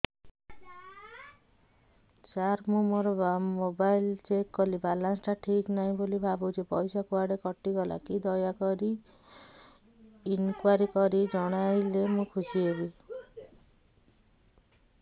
ସାର ମୁଁ ମୋର mobile check କଲି ବାଲାନ୍ସ ଟା ଠିକ ନାହିଁ ବୋଲି ଭାବୁଛି ପଇସା କୁଆଡେ କଟି ଗଲା କି ଦୟାକରି ଇନକ୍ୱାରି କରି ଜଣାଇଲେ ମୁଁ ଖୁସି ହେବି